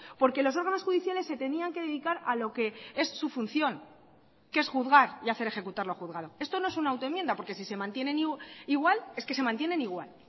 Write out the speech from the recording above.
porque los órganos judiciales se tenían que dedicar a lo que es su función que es juzgar y hacer ejecutar lo juzgado esto no es una auto enmienda porque si se mantienen igual es que se mantienen igual